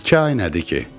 İki ay nədir ki?